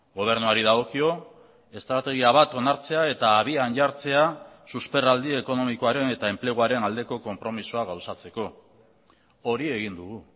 gobernuari dagokio estrategia bat onartzea eta abian jartzea susperraldi ekonomikoaren eta enpleguaren aldeko konpromisoa gauzatzeko hori egin dugu